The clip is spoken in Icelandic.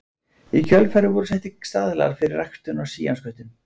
Í kjölfarið voru settir staðlar fyrir ræktun á síamsköttum.